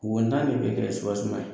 Wontan de bɛ kɛ ye